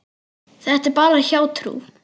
Þetta er bara hjátrú.